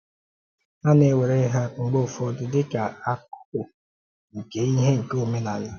A na-ewere ha mgbe ụfọdụ dị ka ákùkù nke íhè nke òmenàlá.